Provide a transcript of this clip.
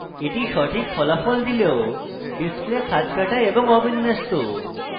এটি সঠিক ফলাফল দিলেও display খাঁজকাটা এবং অবিন্যস্ত